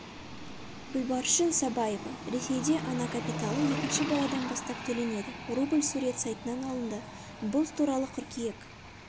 гүлбаршын сабаева ресейде ана капиталы екінші баладан бастап төленеді рубль сурет сайтынан алынды бұл туралы қыркүйек